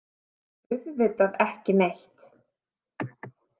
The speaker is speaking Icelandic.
Auðvitað ekki neitt.